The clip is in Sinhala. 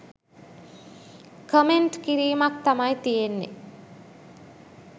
කමෙන්ට් කිරීමක් තමයි තියෙන්නෙ